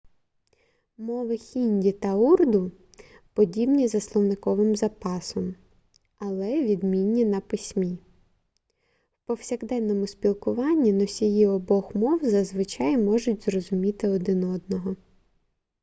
мови хінді та урду подібні за словниковим запасом але відмінні на письмі в повсякденному спілкуванні носії обох мов зазвичай можуть зрозуміти один одного